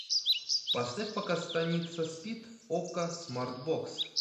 поставь пока станица спит окко смарт бокс